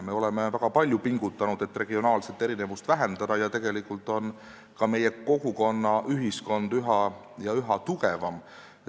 Me oleme väga palju pingutanud, et regionaalseid erinevusi vähendada ja tegelikult on ka meie kogukonnad ühiskonnas üha tugevamad.